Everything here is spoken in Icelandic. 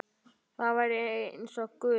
Þær væru eins og guð.